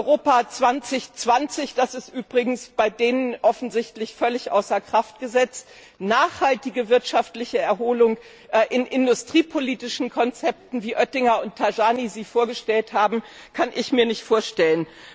Europa 2020 das ist übrigens bei denen offensichtlich völlig außer Kraft gesetzt eine nachhaltige wirtschaftliche Erholung mit industriepolitischen Konzepten, wie Oettinger und Tajani sie vorgestellt haben, kann ich mir nicht vorstellen.